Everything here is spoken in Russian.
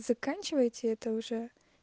заканчивайте это уже